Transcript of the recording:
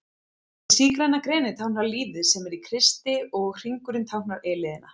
Hið sígræna greni táknar lífið sem er í Kristi og hringurinn táknar eilífðina.